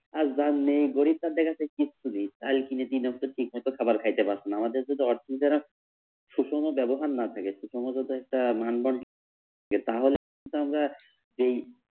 আর যার নেই গরিব তাদের কাছে কিচ্ছু নেই চাল কিনে ঠিকমতো খাবার খাইতে পারছে না। আমাদের যদি অতই যারা সুষম ব্যবহার না থাকে সুষম যুদি একটা মানবন্ধন থাকে তাহলে তো আমরা এই